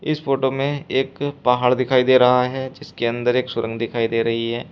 इस फोटो में एक पहाड़ दिखाई दे रहा है जिसके अंदर एक सुरंग दिखाई दे रही है।